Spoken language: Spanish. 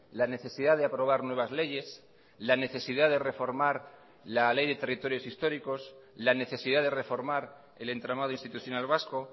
la necesidad de aprobar nuevas leyes la necesidad de reformar la ley de territorios históricos la necesidad de reformar el entramado institucional vasco